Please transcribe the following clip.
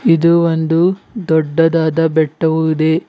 ಇದು ಒಂದು ದೊಡ್ಡದಾದ ಬೆಟ್ಟವು ಇದೆ.